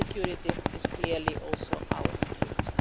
Their security is clearly also our security.